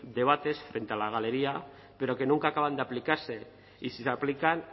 debates frente a la galería pero que nunca acaban de aplicarse y si se aplican